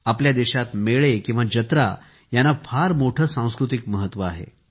आपल्या देशात मेळे किंवा जत्रा यांना फार मोठे सांस्कृतिक महत्त्व आहे